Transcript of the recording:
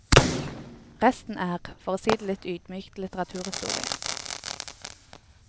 Resten er, for å si det litt ydmykt, litteraturhistorie.